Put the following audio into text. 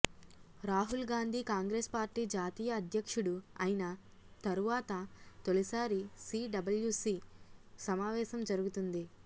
Rahul Gandhi Congress party జాతీయ అధ్యక్షుడు ఐన తరువాత తొలిసారి సిడబ్ల్యుసి సమావేశం జరుగుతుంది